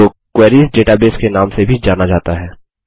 जो queries database के नाम से भी जाना जाता है